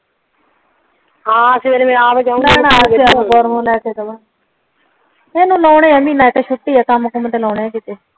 ਹਾਂ ਸਵੇਰੇ ਮੈਂ ਆਪ ਜਾਊਗੀ ਇੱਨੁ ਲੋਣੇ ਆ ਮਹੀਨਾ ਇਕ ਛੁੱਟੀ ਕੰਮ ਕੁਮ ਤੇ ਲੋਣੇ ਆ ਕੀਤੇ